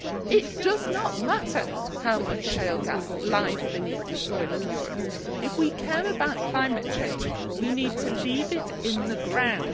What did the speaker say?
It does not matter how much shale gas lies beneath the soil of Europe. If we care about climate change, we need to leave it in the ground.